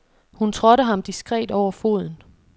Hun trådte ham diskret over foden.